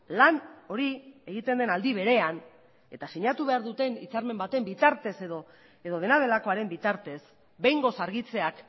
lan hori egiten den aldi berean eta sinatu behar duten hitzarmen baten bitartez edo dena delakoaren bitartez behingoz argitzeak